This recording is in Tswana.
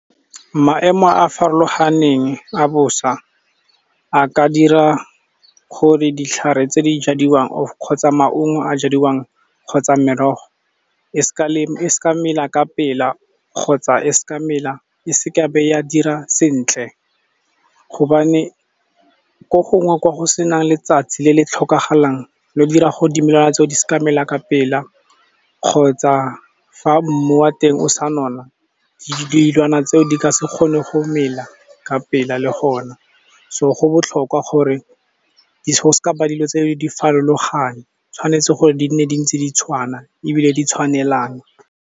Maemo a a farologaneng a bosa a ka dira gore ditlhare tse di jadiwang, kgotsa maungo a jadiwang kgotsa merogo e seka mela ka pela kgotsa e seka ya be ya dira sentle. Gobane ko gongwe kwa go senang letsatsi le le tlhokagalang, le go dira gore dimela tse o di se ka mela ka pela kgotsa fa mmu wa teng o sa nona, dilwana tse o di ka se kgone go mela ka pela le gona, so go botlhokwa gore go se ka ba dilo tse o di farologane, tshwanetse gore di nne di ntse di tshwana ebile di tshwanelana.